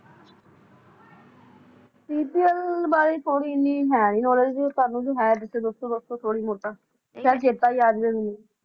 ppl ਬਾਰੇ ਥੋੜੀ ਇੰਨੀ ਹੈ ਨਹੀਂ knowledge ਤੁਹਾਨੂੰ ਦੱਸੋ ਥੋੜਾ ਮੋਟਾ ਕੱਲ ਚੇਤਾ ਵੀ ਆ ਜਾਵੇ ਮੈਨੂੰ